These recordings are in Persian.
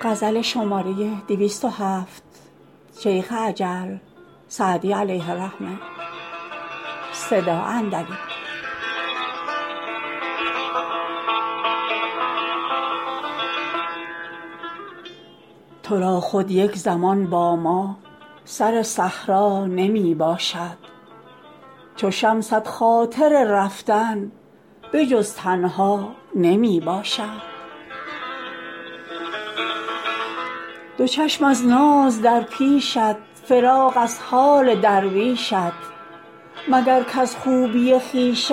تو را خود یک زمان با ما سر صحرا نمی باشد چو شمست خاطر رفتن به جز تنها نمی باشد دو چشم از ناز در پیشت فراغ از حال درویشت مگر کز خوبی خویشت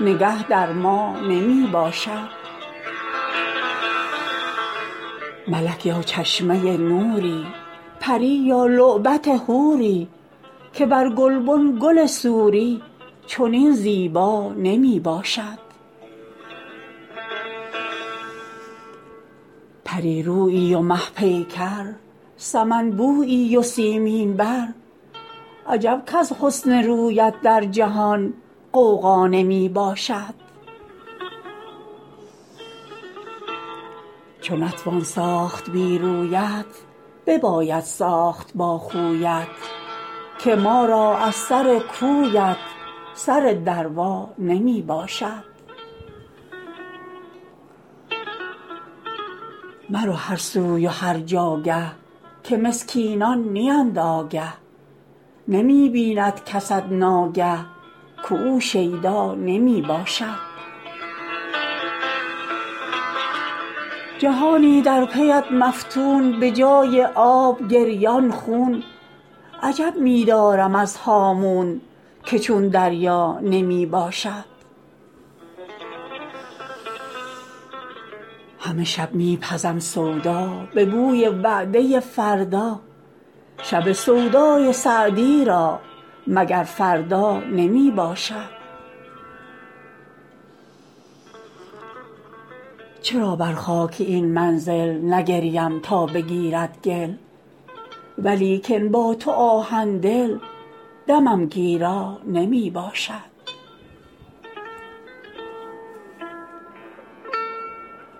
نگه در ما نمی باشد ملک یا چشمه نوری پری یا لعبت حوری که بر گلبن گل سوری چنین زیبا نمی باشد پری رویی و مه پیکر سمن بویی و سیمین بر عجب کز حسن رویت در جهان غوغا نمی باشد چو نتوان ساخت بی رویت بباید ساخت با خویت که ما را از سر کویت سر دروا نمی باشد مرو هر سوی و هر جاگه که مسکینان نیند آگه نمی بیند کست ناگه که او شیدا نمی باشد جهانی در پی ات مفتون به جای آب گریان خون عجب می دارم از هامون که چون دریا نمی باشد همه شب می پزم سودا به بوی وعده فردا شب سودای سعدی را مگر فردا نمی باشد چرا بر خاک این منزل نگریم تا بگیرد گل ولیکن با تو آهن دل دمم گیرا نمی باشد